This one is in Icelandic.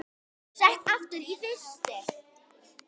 Sett aftur í frysti.